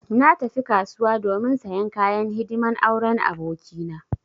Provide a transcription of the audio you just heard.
Na tafi kasuwa domin sayan kayan hidiman auren aboki na.